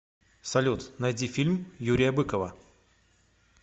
салют найди фильм юрия быкова